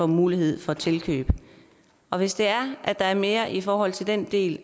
mulighed for tilkøb og hvis det er at der er mere i forhold til den del